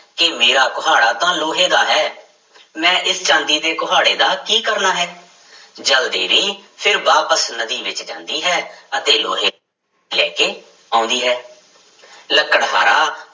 ਕਿ ਮੇਰਾ ਕੁਹਾੜਾ ਤਾਂ ਲੋਹੇ ਦਾ ਹੈ ਮੈਂ ਇਸ ਚਾਂਦੀ ਦੇ ਕੁਹਾੜੇ ਦਾ ਕੀ ਕਰਨਾ ਹੈ ਜਲ ਦੇਵੀ ਫਿਰ ਵਾਪਿਸ ਨਦੀ ਵਿੱਚ ਜਾਂਦੀ ਹੈ ਅਤੇ ਲੋਹੇ ਲੈ ਕੇ ਆਉਂਦੀ ਹੈ ਲੱਕੜਹਾਰਾ